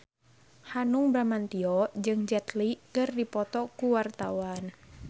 Hanung Bramantyo jeung Jet Li keur dipoto ku wartawan